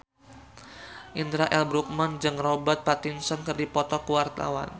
Indra L. Bruggman jeung Robert Pattinson keur dipoto ku wartawan